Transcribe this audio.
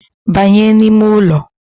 Banya n’ime ụlọ